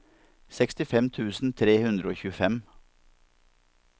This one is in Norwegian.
sekstifem tusen tre hundre og tjuefem